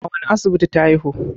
a wane asibiti ta haihu?